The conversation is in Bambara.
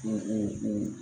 H ee ee